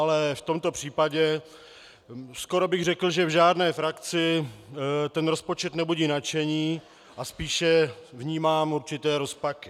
Ale v tomto případě skoro bych řekl, že v žádné frakci ten rozpočet nebudí nadšení, a spíše vnímám určité rozpaky.